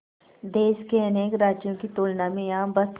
देश के अनेक राज्यों की तुलना में यहाँ बस